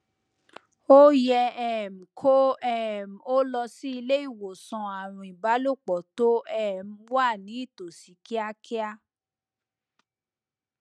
o yẹ um kó um o lọ sí ilé ìwòsàn àrùn ìbálòpọ tó um wà nítòsí kíákíá